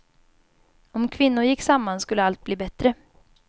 Om kvinnor gick samman skulle allt bli bättre.